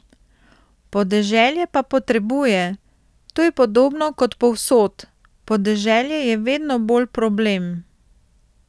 Podeželje pa potrebuje, to je podobno kot povsod, podeželje je vedno bolj problem.